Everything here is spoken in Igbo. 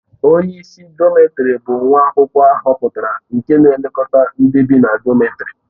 Onye isi dọmètarì bụ nwa akwụkwọ ahọpụtara nke na-elekọta ndị bị na dọmètarì